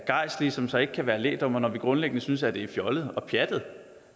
gejstlige som så ikke kan være lægdommere når vi grundlæggende synes det er fjollet og pjattet